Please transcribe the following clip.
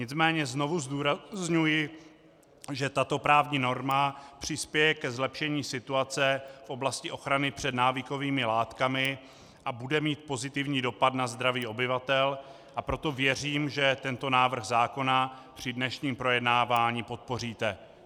Nicméně znovu zdůrazňuji, že tato právní norma přispěje ke zlepšení situace v oblasti ochrany před návykovými látkami a bude mít pozitivní dopad na zdraví obyvatel, a proto věřím, že tento návrh zákona při dnešním projednávání podpoříte.